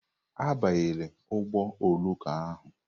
Abanyela ụgbọ oloko ahụ!